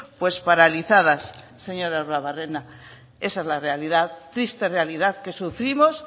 pues paralizadas señor arruabarrena esa es la realidad triste realidad que sufrimos